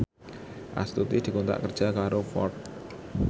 Astuti dikontrak kerja karo Ford